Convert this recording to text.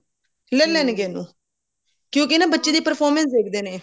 ਲੇ ਲੇਣਗੇ ਇਹਨੂੰ ਕਿਉਂਕਿ ਨਾ ਬੱਚੇ ਦੀ performance ਦੇਖਦੇ ਨੇ